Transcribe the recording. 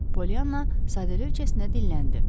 Poliyanna sadəlövhcəsinə dilləndi.